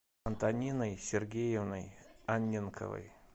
антониной сергеевной анненковой